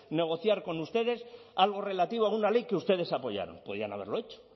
negociar con ustedes algo relativo a una ley que ustedes apoyaron podían haberlo hecho